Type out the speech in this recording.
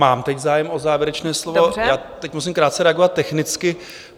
Mám teď zájem o závěrečné slovo, já teď musím krátce reagovat technicky.